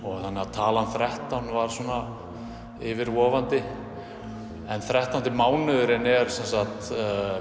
talan þrettán var yfirvofandi þrettándi mánuðurinn er semsagt